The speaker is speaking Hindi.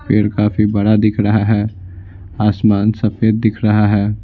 पेड़ काफी बड़ा दिख रहा है आसमान सफेद दिख रहा है।